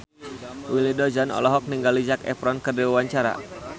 Willy Dozan olohok ningali Zac Efron keur diwawancara